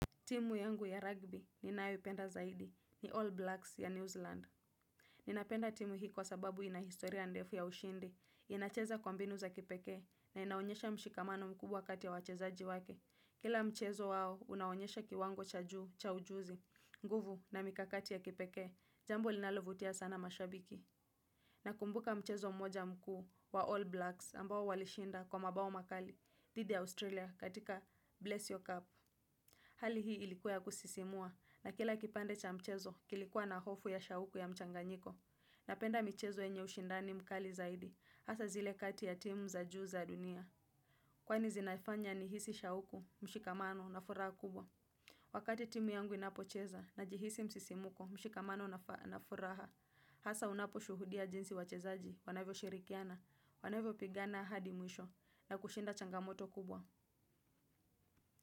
Timu yangu ya rugby ninayoipenda zaidi, ni All Blacks ya New Zealand. Ninapenda timu hii kwa sababu inahistoria ndefu ya ushindi, inacheza kwa mbinu za kipekee, na inaonyesha mshikamano mkubwa kati ya wachezaji wake. Kila mchezo wao, unaonyesha kiwango cha juu, cha ujuzi, nguvu na mikakati ya kipekee, jambo linalovutia sana mashabiki. Nakumbuka mchezo mmoja mkuu wa All Blacks ambao walishinda kwa mabao makali, dhidi ya Australia katika Bless Your Cup. Hali hii ilikuwa ya kusisimua na kila kipande cha mchezo kilikuwa na hofu ya shauku ya mchanganyiko. Napenda michezo yenye ushindani mkali zaidi hasa zile kati ya timu za juu za dunia. Kwani zinaifanya nihisi shauku mshikamano na furaha kubwa. Wakati timu yangu inapocheza najihisi msisimuko mshikamano na furaha. Hasa unapo shuhudia jinsi wachezaji wanavyo shirikiana, wanavyo pigana hadi mwisho na kushinda changamoto kubwa.